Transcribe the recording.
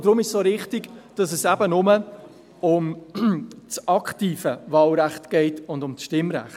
Deshalb ist es auch richtig, dass es eben nur um das aktive Wahlrecht geht sowie um das Stimmrecht.